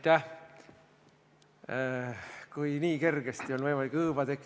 Teine küsimus, Jürgen Ligi, palun!